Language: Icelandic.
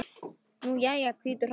Nú já, hvítur hrafn.